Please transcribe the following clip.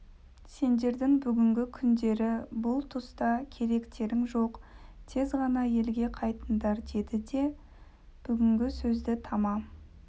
сендердің бүгінгі күндері бұл тұста керектерің жоқ тез ғана елге қайтыңдар деді де бүгінгі сөзді тамам